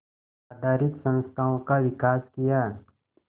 आधारित संस्थाओं का विकास किया